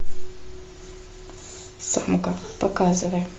самка показывай